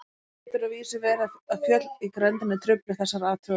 Nú getur að vísu verið að fjöll í grenndinni trufli þessar athuganir.